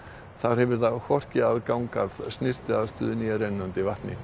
þar hefur það hvorki aðgang að snyrtiaðstöðu né rennandi vatni